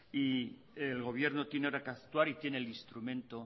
y el gobierno tiene ahora que actuar y tiene el instrumento